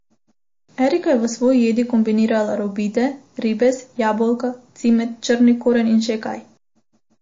Erika je v svoji jedi kombinirala robide, ribez, jabolka, cimet, črni koren in še kaj.